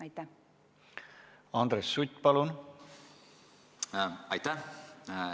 Aitäh!